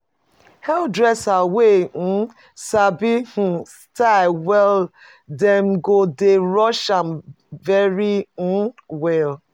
Hairdresser wey um sabi style um well dem go dey rush am very um well.